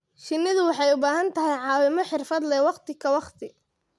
Shinnidu waxay u baahan tahay caawimo xirfad leh waqti ka waqti